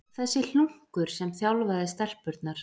Þessi hlunkur sem þjálfaði stelpurnar!